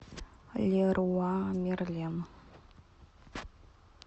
леруа мерлен